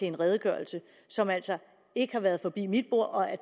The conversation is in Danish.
en redegørelse som altså ikke har været forbi mit bord og